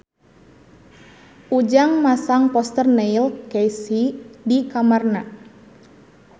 Ujang masang poster Neil Casey di kamarna